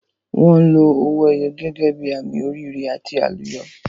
Wọn lo owó ẹyọ gẹ́gẹ́ bí àmì oríire àti àlùyọ.